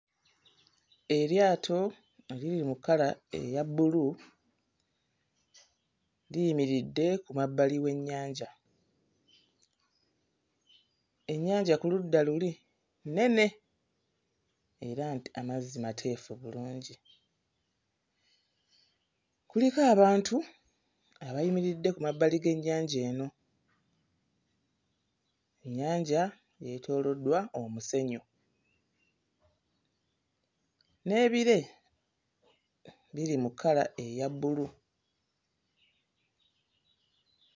Eryato eriri mu kkala eya bbulu liyimiridde ku mabbali w'ennyanja. Ennyanja ku ludda luli nnene era nti amazzi mateefu bulungi. Kuliko abantu abayimiridde ku mabbali g'ennyanja eno. Ennyanja yeetooloddwa omusenyu, n'ebire biri mu kkala eya bbulu.